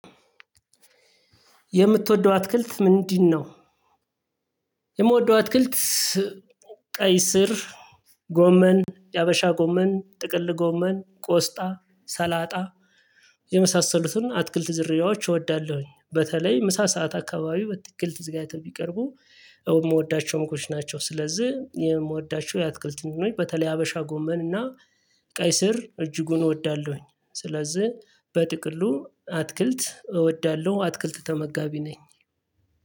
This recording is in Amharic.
የምትወደው አትክልት ምንድነው? የምወደው አትክልት ቀይ ስር ጎመን ያበሻ ጎመን ጥቅል ጎመን ቆስጣ ሰላጣ የመሳሰሉትን አትክልት ዝርያዎች እወዳለሁኝ በተለይ ምሳ ሰዓት አካባቢ በትክክል ተዘጋጅተው ቢቀርቡ የምወዳቸው ምግቦች ናቸው። ስለዚህ የምወዳቸው የአትክልት መኖር በተለይ ሀበሻ ጎመን እና ቀይ ስር እጅጉን እወዳለሁኝ። ስለዚህ በጥቅሉ አትክልት እወዳለሁ አትክልት ተመጋቢ ነኝ።